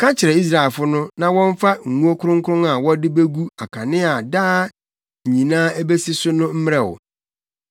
“Ka kyerɛ Israelfo no na wɔmfa ngo kronkron a wɔde begu akanea a daa nyinaa ebesi so no mmrɛ wo.